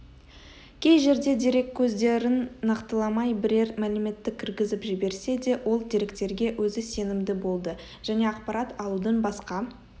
кей жерде дереккөздерін нақтыламай бірер мәліметті кіргізіп жіберсе де ол деректерге өзі сенімді болды және ақпарат алудың басқа